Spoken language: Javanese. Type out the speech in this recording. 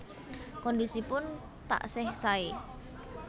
Kondisipun taksih sae